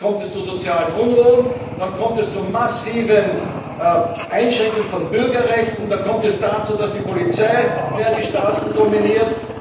Und dann kommt es zu sozialen Unruhen, dann kommt es zu massiven Einschränkungen von Bürgerrechten, dann kommt es dazu, dass die Polizei mehr die Straßen dominiert.